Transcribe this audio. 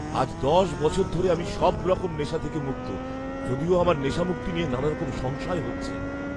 আজ দশ বছর ধরে আমি সবরকম নেশা থেকে মুক্ত, যদিও আমার নেশামুক্তি নিয়ে নানারকম সংশয় হচ্ছে।